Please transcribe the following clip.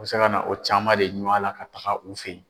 U bɛ se ka na o caman de ɲun la ka taga u fɛ yen.